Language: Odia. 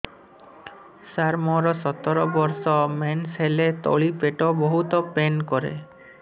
ସାର ମୋର ସତର ବର୍ଷ ମେନ୍ସେସ ହେଲେ ତଳି ପେଟ ବହୁତ ପେନ୍ କରେ